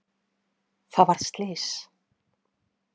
Það varð slys.